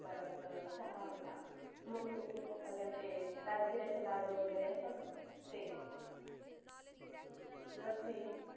परत चहा होता अजून ते राजगुर्‍याचे लाडू वगरे असतात ना ते लस्सी